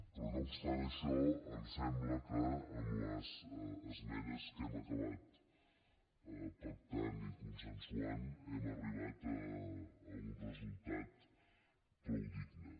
però no obstant això em sembla que amb les esmenes que hem acabat pactant i consensuant hem arribat a un resultat prou digne